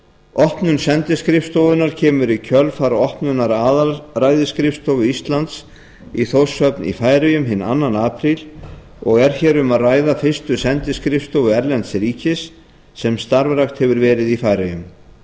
opnun sendiskrifstofunnar kemur í kjölfar opnunar aðalræðisskrifstofu íslands í þórshöfn í færeyjum hinn annar apríl og er hér um að ræða fyrstu sendiskrifstofu erlends ríkis sem starfrækt hefur verið